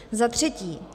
Za třetí.